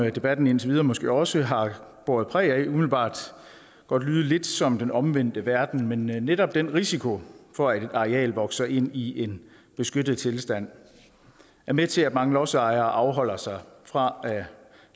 debatten indtil videre måske også har båret præg af umiddelbart lyde lidt som den omvendte verden men netop den risiko for at et areal vokser ind i en beskyttet tilstand er med til at mange lodsejere afholder sig fra